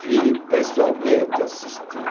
Vi pessoalmente, assisti.